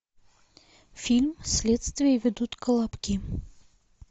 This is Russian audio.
фильм следствие ведут колобки